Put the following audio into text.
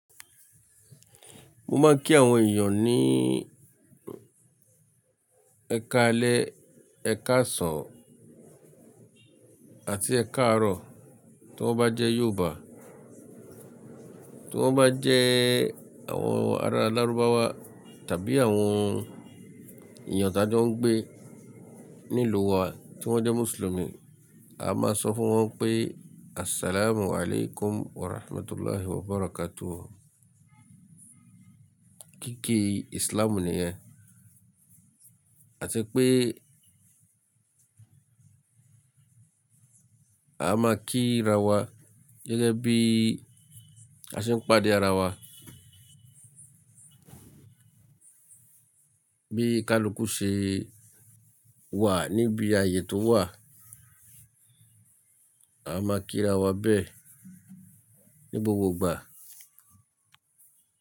Mo máa ń kí àwọn èèyàn ní ẹkaalẹ́, ẹkaàsàn àti ẹkaárọ̀ tí wọ́n bá jẹ́ Yorùbá. Tí wọ́n bá jẹ́ àwọn ará larubawa tàbí àwọn èèyàn tí a ti ń gbé nílùú wa tí wọ́n jẹ́ Mùsùlùmí, a máa sọ fún wọn pé "Assalamualaikum Warahmatullahi Wabarakatuh". Kíkí Islam nìyẹn. A tí pé a máa kí ra wa gẹ́gẹ́ bí a ṣe ń pàdé ara wa. Bí i kaluku ṣe wà níbi ayé tó wà, a máa kí ra wa bẹ́ẹ̀ ní gbogbo ìgbà.